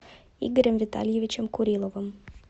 игорем витальевичем куриловым